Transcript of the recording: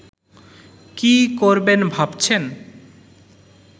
কি করবেন ভাবছেন